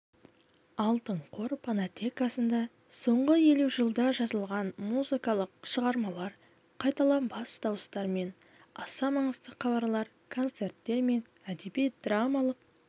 алтын қор фонотекасында соңғы елу жылда жазылған музыкалық шығармалар қайталанбас дауыстар мен аса маңызды хабарлар концерттер мен әдеби-драмалық